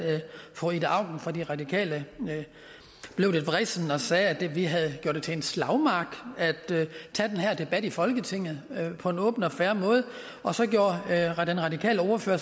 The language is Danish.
fru ida auken fra de radikale blev lidt vrissen og sagde at vi havde gjort det til en slagmark ved at tage den her debat i folketinget på en åben og fair måde og så gjorde den radikale ordfører